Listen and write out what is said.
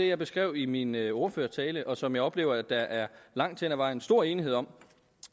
jeg beskrev i min ordførertale og som jeg oplever der langt hen ad vejen er stor enighed om